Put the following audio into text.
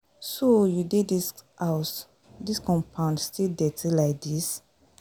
So you dey dis house, dis compound still dirty like this